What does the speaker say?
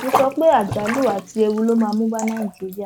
mo sọ pé àjálù àti ewu ló máa mú bá nàìjíríà